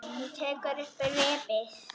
Hún tekur upp reipið.